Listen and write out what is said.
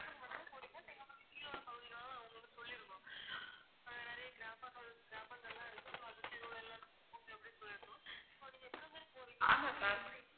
ஆமா ma'am